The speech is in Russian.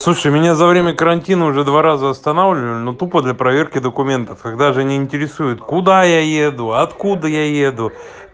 слушайте меня за время карантина уже два раза останавливали но тупо для проверки документов их даже не интересует куда я еду откуда я еду